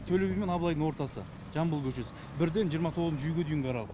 төлеби мен абылайдың ортасы жамбыл көшесі бірден жиырма тоғызыншы үйге дейінгі аралық